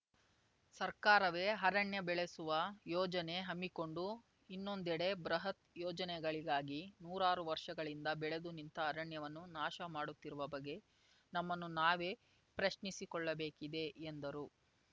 ಸರ್ಕಾರವೇ ಅರಣ್ಯ ಬೆಳೆಸುವ ಯೋಜನೆ ಹಮ್ಮಿಕೊಂಡು ಇನ್ನೊಂದೆಡೆ ಬೃಹತ್‌ ಯೋಜನೆಗಳಿಗಾಗಿ ನೂರಾರು ವರ್ಷಗಳಿಂದ ಬೆಳೆದು ನಿಂತ ಅರಣ್ಯವನ್ನು ನಾಶ ಮಾಡುತ್ತಿರುವ ಬಗ್ಗೆ ನಮ್ಮನ್ನು ನಾವೇ ಪ್ರಶ್ನಿಸಿಕೊಳ್ಳಬೇಕಿದೆ ಎಂದರು